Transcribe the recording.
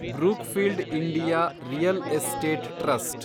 Brookfield India real estate trust